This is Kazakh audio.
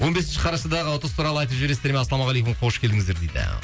он бесінші қарашадағы ұтыс туралы айтып жібересіздер ме ассалаумағалейкум қош келдіңіздер дейді